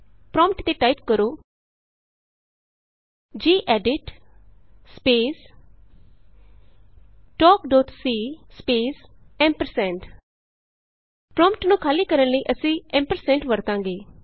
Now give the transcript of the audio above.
prompt ਤੇ type ਕਰੋ gedit space talk dot c space prompt ਨੂੰ ਖਾਲੀ ਕਰਨ ਲਈ ਅਸੀਂ ਐਂਪਰਸੈਂਡ ਵਰਤਾਂਗੇ